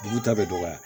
Dugu ta bɛ dɔgɔya